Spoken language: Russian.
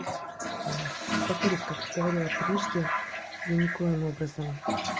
мм повторюсь как говорила прежде я никоим образом